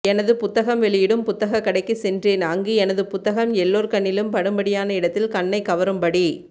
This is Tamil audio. எனதுப் புத்தகம் வெளியிடும் புத்தகக் கடைக்கு சென்றேன் அங்கு எனது புத்தகம் எல்லோர் கண்ணிலும் படும்படியான இடத்தில் கண்ணைக்கவரும்படி